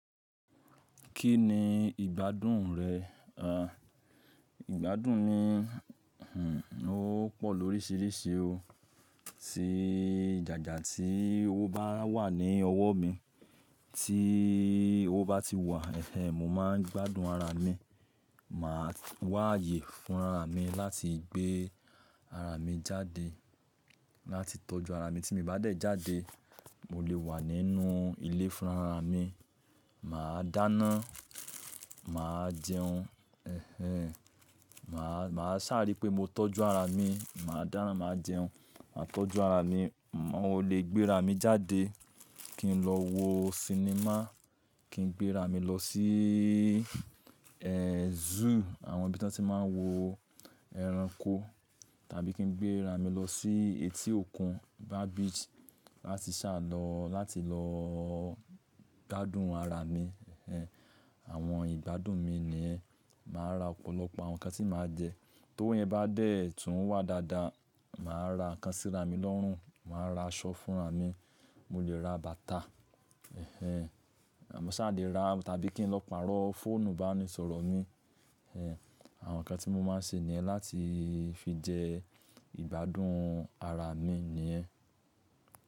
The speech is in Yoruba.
Kí ni ìgbádùn rẹ̀? Ìgbádùn mi, ó pọ̀ lóríṣìíríṣi o. Tí jàjà tí owo bá wà ní ọwọ́ mi, tí owo bá ti wà, mo máa ń gbádùn ara mi. Màá wáaye fúnra mi láti gbé ara mi jáde. Láti tọ́jú ara mi tí mo bá dẹ̀ jáde, mo lè wà nínú ilé fúnra mi. Mà á dáná, mà á jẹun, Mà á, mà á sàári pé mo tọ́jú ara mi, mà á dáná, mà á jẹun, mà á tọ́jú ara mi. Mo lè gbé ara mi jáde kí n lọ wo sinimá, kí n gbé ara mi lọ sí, zoo àwọn ibi tí wọ́n ti máa ń wo ẹranko, tàbí kí n gbé ara mi lọ sí etí òkun, bar beach láti ṣàlọ, láti lọ gbádùn ara mi, Àwọn ìgbádùn mi nìyẹn. Mà á ra ọ̀pọ̀lọpọ̀ àwọn nǹkan tí mà á jẹ. Tó yẹn bá dẹ̀ tún wà dáadáa, mà á ra nǹkan síra mi lọ́rùn, mà á ra aṣọ fúnra mi, mo lè ra bàtà, Mo ṣà lè ra tàbí kí n lọ pàrọ̀ fóònù ìbánisọ̀rọ̀ mi, Àwọn nǹkan tí mo máa ń ṣe ní ẹ́ láti fi jẹ ìgbádùn ara mi nìyẹn.